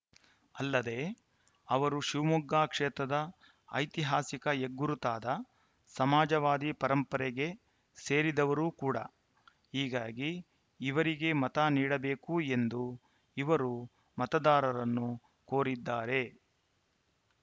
ಅಲ್ಲದೆ ಅವರು ಶಿವಮೊಗ್ಗ ಕ್ಷೇತ್ರದ ಐತಿಹಾಸಿಕ ಹೆಗ್ಗುರುತಾದ ಸಮಾಜವಾದಿ ಪರಂಪರೆಗೆ ಸೇರಿದವರು ಕೂಡ ಹೀಗಾಗಿ ಇವರಿಗೆ ಮತ ನೀಡಬೇಕು ಎಂದು ಇವರು ಮತದಾರರನ್ನು ಕೋರಿದ್ದಾರೆ